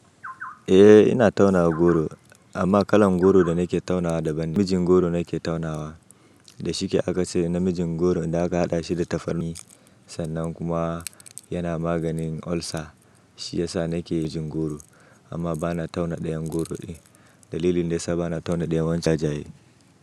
Eh ina taunawa goro amma kalan goro da nake taunawa daban ne. Mijin goro nake taunawa. Da shike aka ce na mijin goro idan aka haɗa shi da tafarni sannan kuma yana maganin ulcer. Shi yasa nake mijin goro amma bana tauna ɗayan goro din. Dalilin daya sa bana tauna ɗayan wancan jajaye.